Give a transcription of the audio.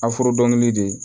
dɔngili de